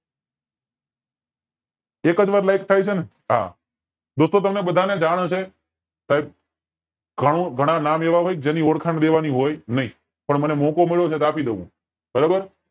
એક જ વાર લઈટ થાય છે ને હા દોસ્તો તમને બધાને જાણ હશે સાહેબ ઘણું ઘણા નામ એવા હોય છે જેની ઓળખાણ દેવાની હોય નય પણ મને મોકો મળ્યો છે તો આપી દવ હું